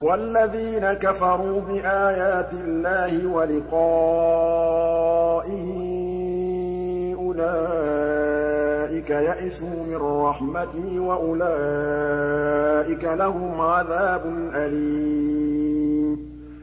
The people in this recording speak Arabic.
وَالَّذِينَ كَفَرُوا بِآيَاتِ اللَّهِ وَلِقَائِهِ أُولَٰئِكَ يَئِسُوا مِن رَّحْمَتِي وَأُولَٰئِكَ لَهُمْ عَذَابٌ أَلِيمٌ